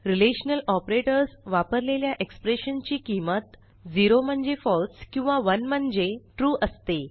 relational operatorsवापरलेल्या expressions ची किंमत 0 म्हणजे फळसे किंवा 1म्हणजे ट्रू असते